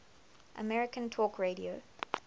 american talk radio